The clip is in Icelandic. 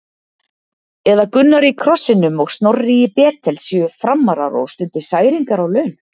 Eða Gunnar í Krossinum og Snorri í Betel séu Framarar og stundi særingar á laun?